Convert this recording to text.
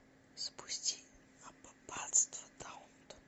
запусти аббатство даунтон